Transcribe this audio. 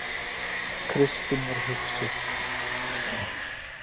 Kristín var hugsi.